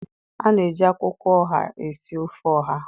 A na-eji akwụkwọ ọha esi ofe ọha